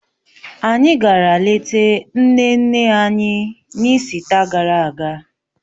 Anyị gara lete nne nne anyị, n'ịsita gara aga